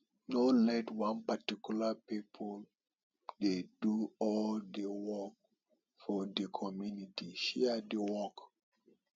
no let one particular pipo dey do all di work for di community share di work